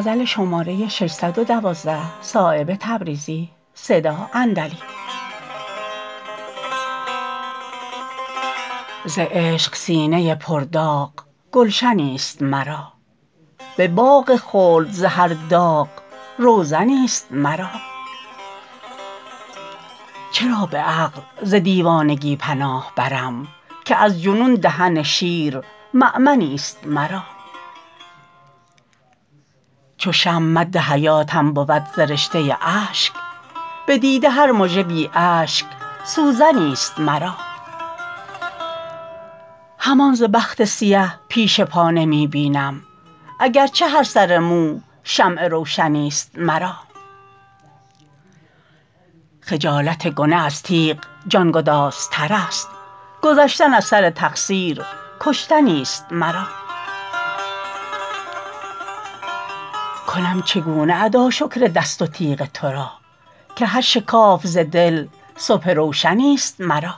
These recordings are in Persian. ز عشق سینه پر داغ گلشنی است مرا به باغ خلد ز هر داغ روزنی است مرا چرا به عقل ز دیوانگی پناه برم که از جنون دهن شیر مأمنی است مرا چو شمع مد حیاتم بود ز رشته اشک به دیده هر مژه بی اشک سوزنی است مرا همان ز بخت سیه پیش پا نمی بینم اگر چه هر سر مو شمع روشنی است مرا خجالت گنه از تیغ جانگدازترست گذشتن از سر تقصیر کشتنی است مرا کنم چگونه ادا شکر دست و تیغ ترا که هر شکاف ز دل صبح روشنی است مرا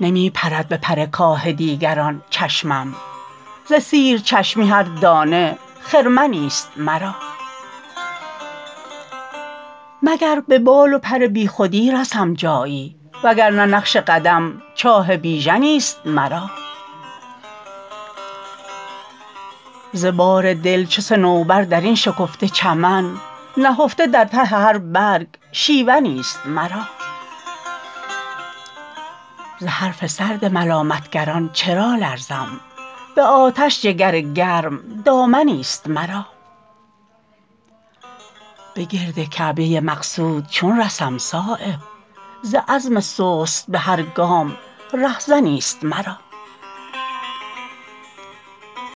نمی پرد به پر کاه دیگران چشمم ز سیر چشمی هر دانه خرمنی است مرا مگر به بال و پر بیخودی رسم جایی وگرنه نقش قدم چاه بیژنی است مرا ز بار دل چو صنوبر درین شکفته چمن نهفته در ته هر برگ شیونی است مرا ز حرف سرد ملامتگران چرا لرزم به آتش جگر گرم دامنی است مرا به گرد کعبه مقصود چون رسم صایب ز عزم سست به هر گام رهزنی است مرا